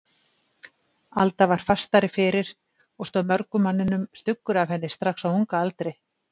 Alda var fastari fyrir og stóð mörgum manninum stuggur af henni strax á unga aldri.